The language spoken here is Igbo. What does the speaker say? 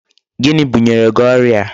Gịnị bunyere gị ọrịa?